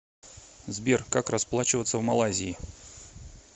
сбер как расплачиваться в малайзии